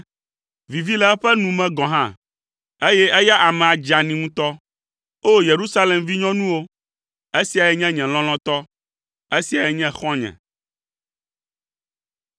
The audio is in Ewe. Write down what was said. Vivi le eƒe nu me gɔ̃ hã, eye eya amea dzeani ŋutɔ. O Yerusalem vinyɔnuwo, esiae nye nye lɔlɔ̃tɔ, esiae nye xɔ̃nye.”